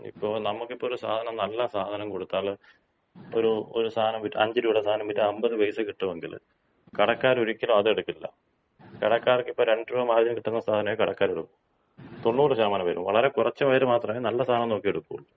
ഇപ്പോ നമുക്കിപ്പോ ഒര് സാധനം നല്ല സാധനം കൊടുത്താല് ഒരു ഒരു സാനം വിറ്റാല്, അഞ്ച് രൂപയുടെ സാനം വിറ്റാല് അൻപത് പൈസ കിട്ടുവെങ്കില് കടക്കാരൊരിക്കലും അതെടുക്കില്ല. കടക്കാർക്കിപ്പൊ രണ്ട് രൂപ മാർജിൻ കിട്ടുന്ന സാനേ കടക്കാരെടുക്കൂ. തൊണ്ണൂറ് ശതമാനം പേരും, വളരെ കുറച്ച് പേര് മാത്രമേ നല്ല സാനം നോക്കി എടുക്കുള്ളൂ.